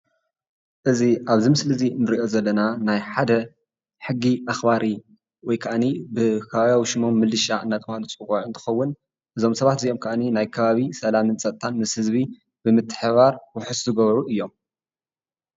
እዚ ኣብዚ ምስሊ እዚ ንሪኦ ዘለና ናይ ሓደ ሕጊ ኣኽባሪ ወይካኣኒ ብኸባብያዊ ሽሞም ምልሻ እንዳተባህሉ ዝፅዋዑ እንትኸውን እዞም ሰባት እዚኦም ከኣኒ ናይ ከባቢ ሰላምን ፀጥታን ምስ ህዝቢ ብምትሕብባር ውሕስ ዝገብሩ እዮም፡፡